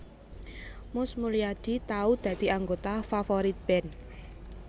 Mus Mulyadi tau dadi anggota Favourite Band